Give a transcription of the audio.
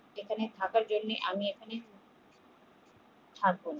এখানে থাকার জন্যে আমি